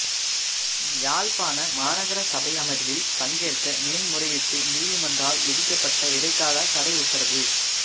யாழ்ப்பாண மாநகர சபை அமர்வில் பங்கேற்க மேன்முறையீட்டு நீதிமன்றால் விதிக்கப்பட்ட இடைக்காலத் தடை உத்தரவ